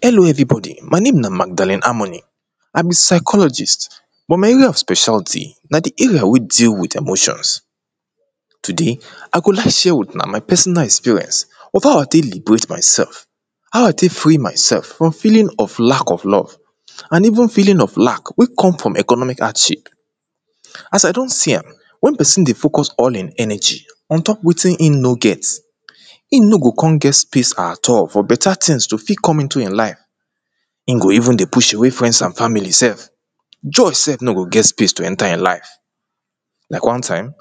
hello everybody my name na magdalene harmony i be psychologist but my area of specialty na the area wey deal with emotions today i go like share with una my personal experience of how i tey liberate myself how i tey free myself from feeling of lack of love and even feeling of lack wey come from economic hardship as i don see am wen pesin dey focus all in energy ontop wetin in no get im no go kon get space at all for better tings to fit comeinto in life in go even dey push away friends and family sef joy sef no go get space to enter in life like one time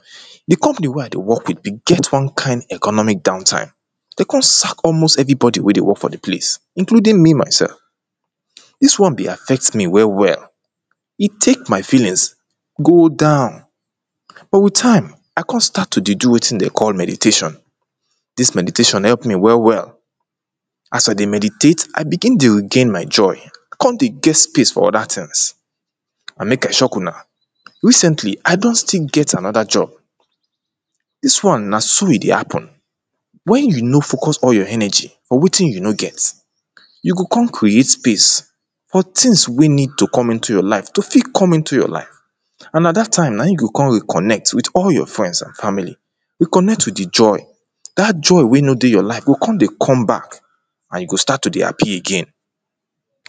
the company wey i dey work wit get one kind economic downtime dem kon sack almost everybody wey dey work for the place including me myself dis one be affect me well well he tek my feelings go down but wit time i kon start to dey do wetin dem dey call meditation dis meditation help me well well as i dey meditate i begin dey regain my joy kon dey get space for other tings and make i shock una recently i don still get another job dis one na so he dey happen when you no focus all your energy for wetin you no get you go kon create space for tings wey need to come into your life to fi come into your life and na dat time na in you go kon reconnect wit all your friends and family reconnect wit the joy dat joy wey no dey your life go kon dey come back and you go start to dey happy again